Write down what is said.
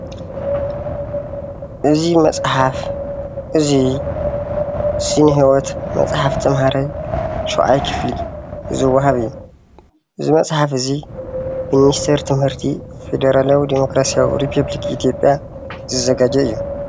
እዚ መፅሓፍ እዚ ስነ-ሂወት መፅሓፍ ተማሃራይ ን7ይ ክፍሊ ዝወሃብ እዩ፡፡ እዚ መፅሓፍ እዚ ብምኒስተር ትምህርቲ ፌደራላያዊ ዲሞክራስያዊ ሪፖብሊክ ኢትዮጵያ ዝዘገጆ እዩ፡፡